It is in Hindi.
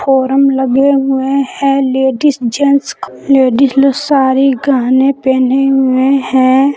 ओरम लगे हुए हैं लेडिस जेंट्स लेडिस सारी गहने पहने हुए हैं।